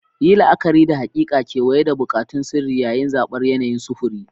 Yi la'akari da haƙiƙa, kewaye, da buƙatun sirri yayin zabar yanayin sufuri.